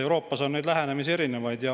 Euroopas on erinevaid lähenemisi.